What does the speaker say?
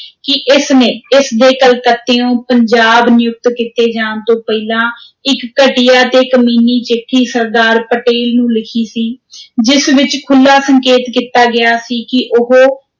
ਕਿ ਇਸ ਨੇ, ਇਸ ਦੇ ਕਲਕੱਤਿਉਂ, ਪੰਜਾਬ ਨਿਯੁਕਤ ਕੀਤੇ ਜਾਣ ਤੋਂ ਪਹਿਲਾਂ ਇਕ ਘਟੀਆ ਤੇ ਕਮੀਨੀ ਚਿੱਠੀ ਸਰਦਾਰ ਪਟੇਲ ਨੂੰ ਲਿਖੀ ਸੀ ਜਿਸ ਵਿਚ ਖੁੱਲ੍ਹਾ ਸੰਕੇਤ ਕੀਤਾ ਗਿਆ ਸੀ ਕਿ ਉਹ,